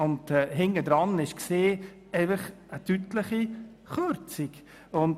Dahinter steckte dann eine deutliche Kürzung.